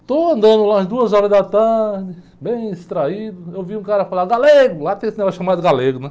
Estou andando lá às duas horas da tarde, bem extraído, eu vi um cara falar, Galego, lá tem esse negócio chamado Galego, né?